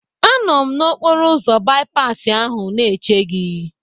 Anọ m n'okporoụzọ bipasi ahụ na-eche gị.